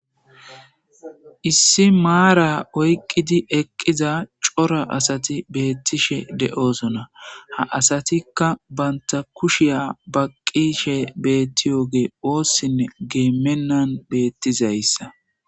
Issi maara oyqqidi eqqiza asatti betishe de'ossona. Ha asattikka ba kushshiya baqishe betiyoge ossinne minan betizayssa.